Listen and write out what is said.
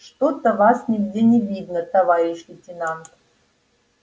что-то вас нигде не видно товарищ лейтенант